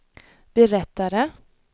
berättade